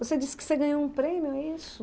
Você disse que você ganhou um prêmio, é isso?